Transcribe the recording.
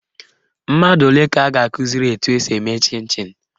Mmadụ ole ka a ga-akụziri etu esi eme chịn chịn?